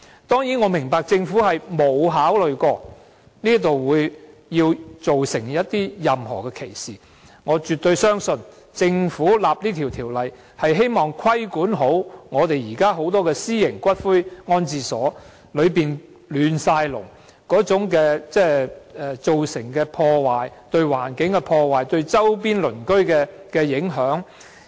當然，我明白政府並沒有考慮到它會造成任何歧視，而我亦絕對相信政府的立法原意是規管現時眾多私營骨灰安置所的混亂情況及所造成的破壞，包括對環境的破壞和對周邊鄰居的影響。